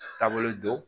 Taabolo don